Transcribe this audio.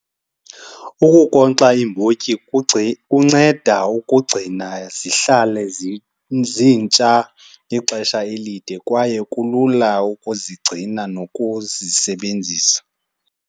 Ukunkonkxa iimbotyi kunceda ukugcina zihlale zintsha ixesha elide kwaye kulula ukuzigcina nokuzisebenzisa.